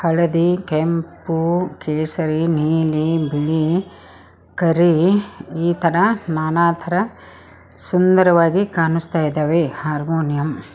ಹಳದಿ ಕೆಂಪು ಕೇಸರಿ ನೀಲಿ ಬಿಳಿ ಕರಿ ಈ ತರ ನಾನಾತರ ಸುಂದರವಾಗಿ ಕಾಣಿಸ್ತಾ ಇದಾವೆ ಹಾರ್ಮೋನಿಯಂ .